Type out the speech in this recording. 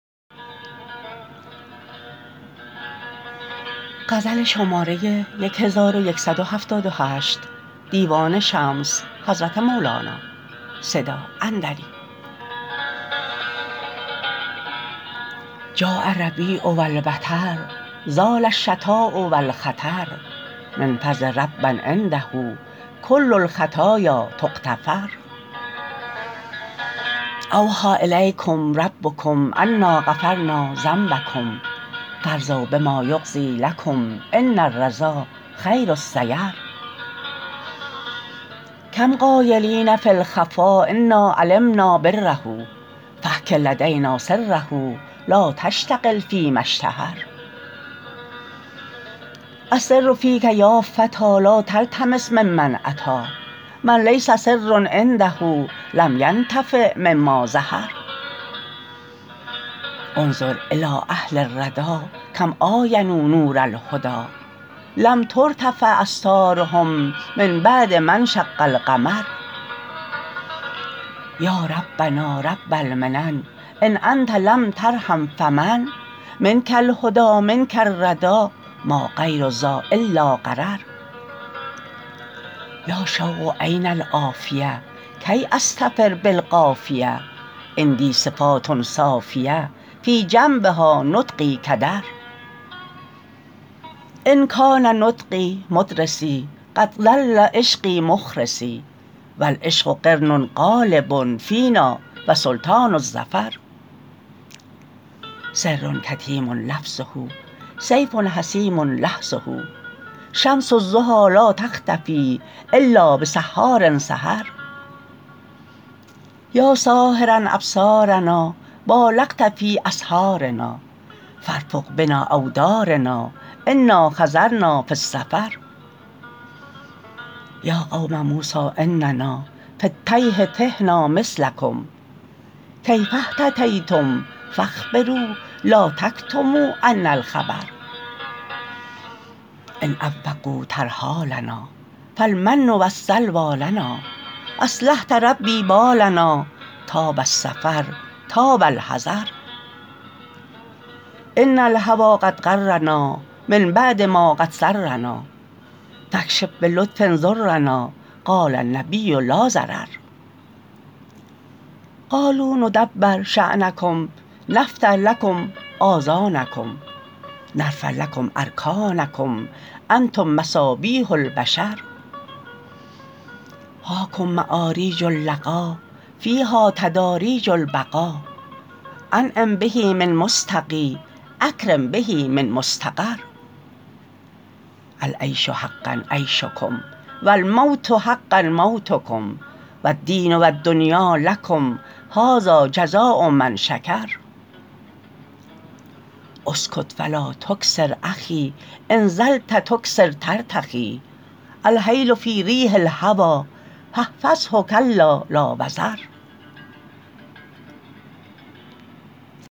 جاء الربیع و البطر زال الشتاء و الخطر من فضل رب عنده کل الخطایا تغتفر اوحی الیکم ربکم انا غفرنا ذنبکم فارضوا بما یقضی لکم ان الرضا خیر السیر کم قایلین فی الخفا انا علمنا بره فاجرک لدینا سره لا تشتغل فیما اشتهر السر فیک یا فتی لا تلتمس ممن اتی من لیس سر عنده لم ینتفع مما ظهر انظر الی اهل الردی کم عاینوا نور الهدی لم ترتفع استارهم من بعد ما انشق القمر یا ربنا رب المنن ان انت لم ترحم فمن منک الهدی منک الردی ما غیر ذا الا غرر یا شوق این العافیه کی اضطفر بالقافیه عندی صفات صافیه فی جنبها نطقی کدر ان کان نطقی مدرسی قد ظل عشقی مخرسی و العشق قرن غالب فینا و سلطان الظفر سر کتیم لفظه سیف جسیم لحظه شمس الضحی لا تختفی الا بسحار سحر یا ساحراء ابصارنا بالغت فی اسحارنا فارفق بنا اودارنا انا حضرنا فی السفر یا قوم موسی اننا فی التیه تهنا مثلکم کیف اهتدیتم فاخبرو الا تکتموا عنا الخبر ان عوقوا ترحالنا فالمن و السلوی لنا اصلحت ربی بالنا طاب السفر طاب الحضر ان الهوی قد غرنا من بعد ما قد سرنا فاکشف به لطف ضرنا قال النبی لا ضرر قالوا ندبر شأنکم نفتح لکم آذانکم نرفع لکم ارکانکم انتم مصابیح البشر هاکم معاریج اللقا فیها تداریج البقا انعم به من مستقی اکرم به من مستقر العیش حقاء عیشکم و الموت حقاء موتکم و الدین و الدنیا لکم هذا جزاء من شکر اسکت فلا تکثر اخی ان طلت تکثر ترتخی الحیل فی ریح الهوی فاحفظه کلا لا وزر